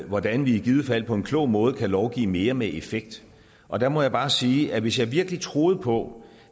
hvordan vi i givet fald på en klog måde kan lovgive mere med effekt og der må jeg bare sige at hvis jeg virkelig troede på